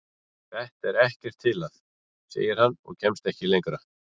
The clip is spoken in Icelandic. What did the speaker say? Þetta er ekkert til að. segir hann og kemst ekki lengra.